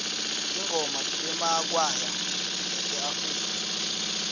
tingoma temakwaya aseafrika